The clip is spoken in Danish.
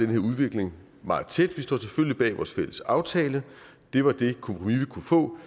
her udvikling meget tæt vi står selvfølgelig bag vores fælles aftale det var det kompromis vi kunne få